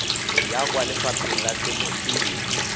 ya kwa lefapheng la temothuo